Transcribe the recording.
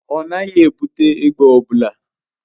Ọ naghị ebute egbe ọ bụla.